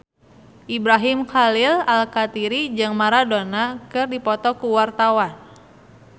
Ibrahim Khalil Alkatiri jeung Maradona keur dipoto ku wartawan